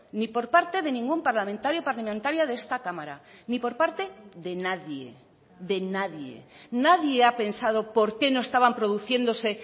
ni por parte de ningún parlamentario parlamentaria de esta cámara ni por parte de nadie de nadie nadie ha pensado por qué no estaban produciéndose